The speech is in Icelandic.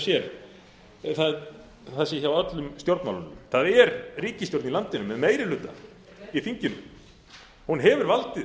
ekki hjá sér það sé hjá öllum stjórnmálunum það er ríkisstjórn í landinu með meiri hluta í þinginu hún hefur valdið